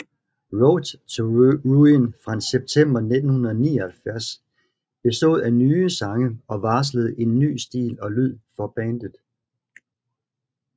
Road to Ruin fra september 1979 bestod af nye sange og varslede en ny stil og lyd for bandet